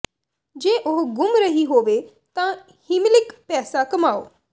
ਜੇ ਉਹ ਗੁੰਮ ਰਹੀ ਹੋਵੇ ਤਾਂ ਹੀਮਿਲਿਕ ਪੈਸਾ ਕਮਾਓ